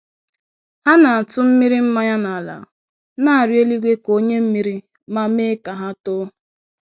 Ha na-atụmmiri mmañya n'ala, na-arịọ eluigwe ka o nye mmiri, ma mee ka ha too